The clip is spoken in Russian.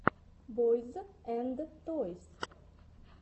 бойз энд тойс